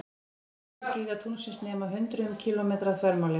Stærstu gígar tunglsins nema hundruðum kílómetra að þvermáli.